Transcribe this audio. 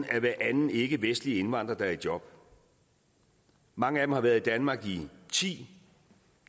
er hver anden ikkevestlige indvandrer der er i job mange af dem har været i danmark i ti